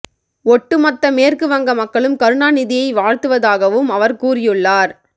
ஒட்டு மொத்த மேற்கு வங்க மக்களும் கருணாநிதியை வாழ்த்துவதாகவும் அவர் கூறியுள்ளார்